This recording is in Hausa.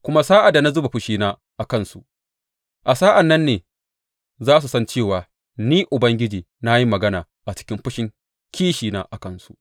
Kuma sa’ad da na zuba fushina a kansu, a sa’an nan ne za su san cewa Ni Ubangiji na yi magana a cikin fushin kishina a kansu.